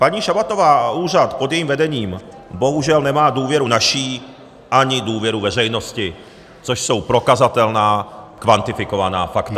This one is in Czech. Paní Šabatová a úřad pod jejím vedením bohužel nemá důvěru naši, ani důvěru veřejnosti, což jsou prokazatelná, kvantifikovaná fakta.